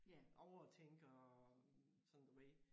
Overtænker og sådan du ved